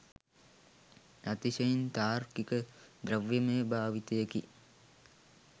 අතිශයින් තාර්කික ද්‍රව්‍යමය භාවිතයකි.